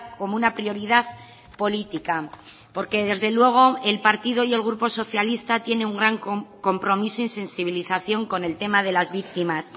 como una prioridad política porque desde luego el partido y el grupo socialista tiene un gran compromiso y sensibilización con el tema de las víctimas